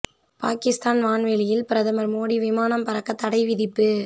பாகிஸ்தான் வான் வெளியில் பிரதமர் மோடி விமானம் பறக்க தடை விதிப்பு